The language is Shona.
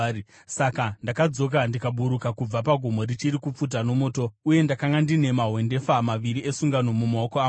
Saka ndakadzoka ndikaburuka kubva pagomo richiri kupfuta nomoto. Uye ndakanga ndine mahwendefa maviri esungano mumaoko angu.